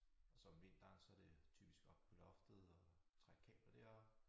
Og så om vinteren så det typisk oppe på loftet og trække kabler deroppe